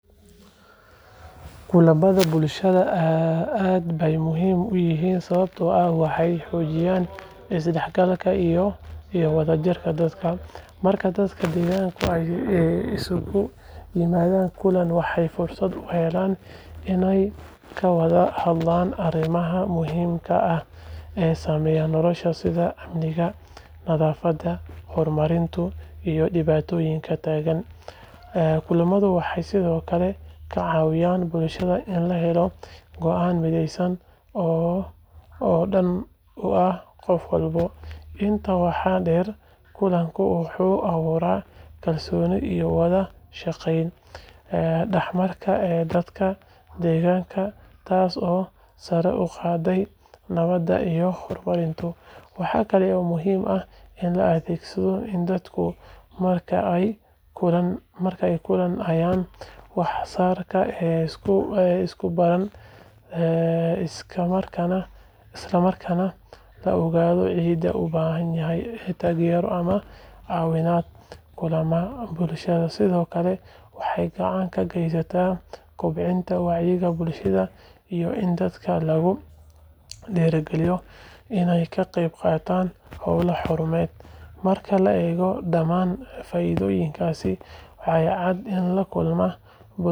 Kulamada bulshada aad bay muhiim u yihiin sababtoo ah waxay xoojiyaan isdhexgalka iyo wadajirka dadka. Marka dadka deegaanka ay isugu yimaadaan kulan, waxay fursad u helaan inay ka wada hadlaan arrimaha muhiimka ah ee saameeya noloshooda sida amniga, nadaafadda, horumarka iyo dhibaatooyinka taagan. Kulamadu waxay sidoo kale ka caawiyaan bulshada in la helo go’aan mideysan oo dan u ah qof walba. Intaa waxaa dheer, kulanku wuxuu abuuraa kalsooni iyo wada-shaqayn dhex marta dadka deegaanka, taasoo sare u qaadda nabadda iyo horumarka. Waxaa kale oo muhiim ah in la ogaado in dadka marka ay kulmaan ay wax badan isku baraan, isla markaana la ogaado cidda u baahan taageero ama caawimaad. Kulamada bulshada sidoo kale waxay gacan ka geystaan kobcinta wacyiga bulshada iyo in dadka lagu dhiirrigeliyo inay ka qayb qaataan howlo horumarineed. Marka la eego dhammaan faa'iidooyinkaas, waxaa cad in kulamada bulshada.